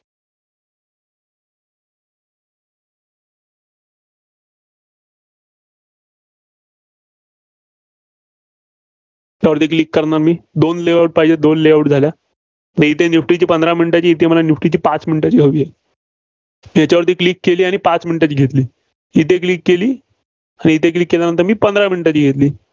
यावरती Click करणार. दोन layout पाहिजेत, दोन layout झालेत. तर इथे निफ्टीची पंधरा minute ची इथे निफ्टीची पाच minute ची हवी आहे. त्याच्यावरती click केली आणि पाच minute ची घेतली. इथं click केली. तर इथं Click केल्यानंतर मी पंधरा minute ची घेतली.